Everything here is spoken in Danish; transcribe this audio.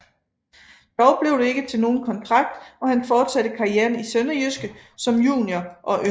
Dog blev det ikke til nogen kontrakt og han forsatte karrieren i SønderjyskE som junior og ynglinge